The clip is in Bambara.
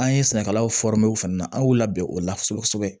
An ye sɛnɛkɛlaw fana na an y'u labɛn o la kosɛbɛ kosɛbɛ